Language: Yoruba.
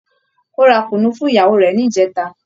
Ó ra Kunu fún ìyàwó rẹ̀ ní ìjẹta